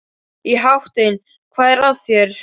Í háttinn, hvað er að þér?